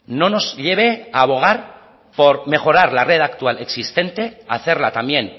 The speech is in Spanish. no nos lleve a bogar por mejorar la red actual existente a hacerla también